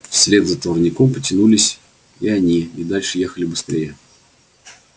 вслед за товарняком потянулись и они и дальше ехали быстрее